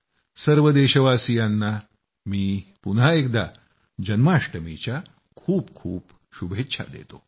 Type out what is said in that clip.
सर्व देशवासियांना मी पुन्हा एकदा जन्माष्टमीच्या खूप खूप शुभेच्छा देतो